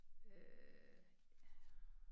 Øh ja